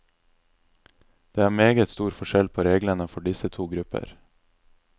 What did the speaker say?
Det er meget stor forskjell på reglene for disse to grupper.